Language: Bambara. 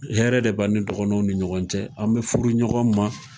Hɛrɛ de b'an ni dɔgɔnɔw ni ɲɔgɔn cɛ. An be furu ɲɔgɔn ma.